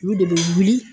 Olu de bɛ wuli